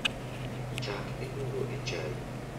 Chak imuro e chai